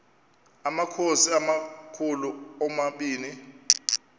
amakhosi amakhulu omabini